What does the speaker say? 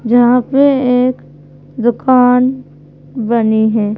जहां पे एक दुकान बनी है।